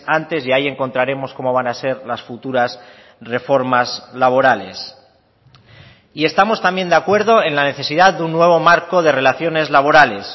antes y ahí encontraremos cómo van a ser las futuras reformas laborales y estamos también de acuerdo en la necesidad de un nuevo marco de relaciones laborales